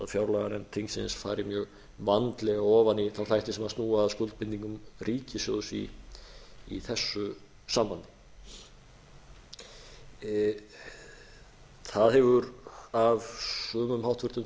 fjárlaganefnd þingsins fari mjög vandlega ofan í þá þætti sem snúa að skuldbindingum ríkissjóðs í þess sambandi það hefur af sumum hvþingmönnum í þessari umræðu